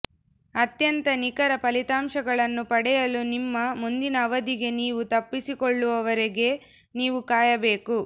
ಅತ್ಯಂತ ನಿಖರ ಫಲಿತಾಂಶಗಳನ್ನು ಪಡೆಯಲು ನಿಮ್ಮ ಮುಂದಿನ ಅವಧಿಗೆ ನೀವು ತಪ್ಪಿಸಿಕೊಳ್ಳುವವರೆಗೆ ನೀವು ಕಾಯಬೇಕು